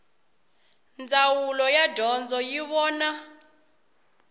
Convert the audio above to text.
ndzawulo ya dyondzo yi vona